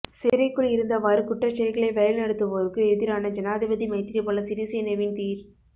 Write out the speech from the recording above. சிறைக்குள் இருந்தவாறு குற்றச்செயல்களை வழிநடத்துவோருக்கு எதிரான ஜனாதிபதி மைத்திரிபால சிறிசேனவின் தீர்